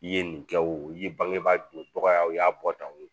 I ye nin kɛ o ye bangebaa doncogoyaw y'a bɔ tan o